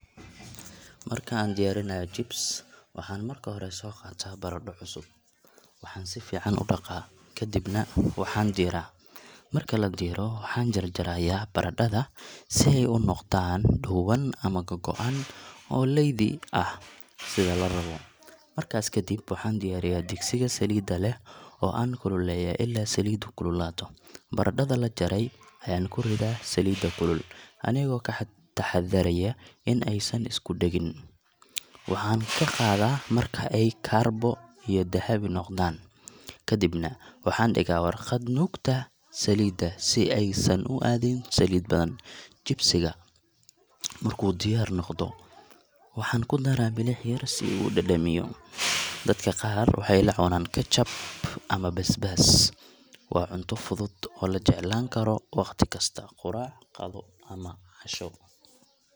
Marka aan diyaarinayo chips, waxaan marka hore soo qaataa baradho cusub. Waxaan si fiican u dhaqaa, kadibna waxaan diiraa. Marka la diiro, waxaan jar-jarayaa baradhada si ay u noqdaan dhuuban ama googo’an oo leydi ah, sida la rabo. Markaas ka dib, waxaan diyaariyaa digsiga saliidda leh oo aan kululeeyaa ilaa saliiddu kululaato. Baradhada la jaray ayaan ku ridayaa saliidda kulul, anigoo ka taxaddaraya in aysan isku dhegin. Waxaan ka qaadaa marka ay kaarbo iyo dahabi noqdaan, kadibna waxaan dhigaa warqad nuugta saliidda si aysan u aadin saliid badan. Chips-ka markuu diyaar noqdo, waxaan ku daraa milix yar si uu u dhadhamiyo. Dadka qaar waxay la cunaan ketchup ama basbaas. Waa cunto fudud oo la jeclaan karo waqti kasta — quraac, qado ama casho.